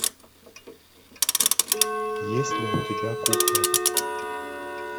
есть ли у тебя кукла